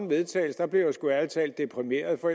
vedtagelse blev jeg sgu ærlig talt deprimeret for